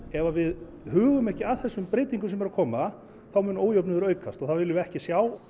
ef við hugum ekki að þessum breytingum sem eru að koma þá mun ójöfnuður aukast og það viljum við ekki sjá